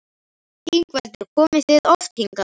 Ingveldur: Komið þið oft hingað?